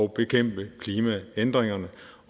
bekæmpe klimaændringerne